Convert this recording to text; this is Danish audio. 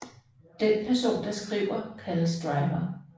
Den person der skriver kaldes Driver